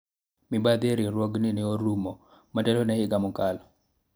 mibadhi e riwruogni ne orumo motelo ne higa mokalo